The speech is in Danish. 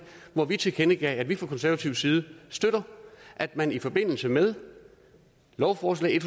hvor vi tilkendegav at vi fra konservatives side støtter at man i forbindelse med lovforslag